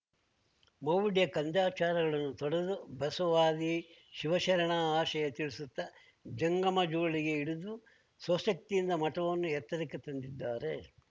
ಮೌಢ್ಯಕಂದಚಾರಗಳನ್ನು ತೊಡೆದು ಬಸವಾದಿ ಶಿವಶರಣ ಆಶಯ ತಿಳಿಸುತ್ತಾ ಜಂಗಮ ಜೋಳಿಗೆ ಹಿಡಿದು ಸ್ವ ಶಕ್ತಿಯಿಂದ ಮಠವನ್ನು ಎತ್ತರಕ್ಕೆ ತಂದಿದ್ದಾರೆ